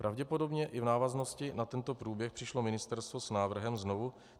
Pravděpodobně i v návaznosti na tento průběh přišlo ministerstvo s návrhem znovu.